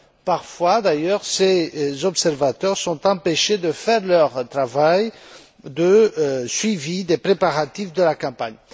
Parfois d'ailleurs, ces observateurs sont empêchés de faire leur travail de suivi des préparatifs de la campagne.